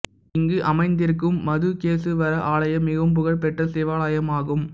இங்கு அமைந்திருக்கும் மதுகேசுவரா ஆலயம் மிகவும் புகழ் பெற்ற சிவாலயமாகும்